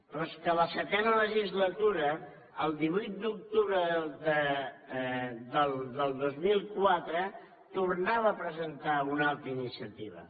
però és que a la setena legislatura el divuit d’octubre del dos mil quatre tornava a presentar una altra iniciativa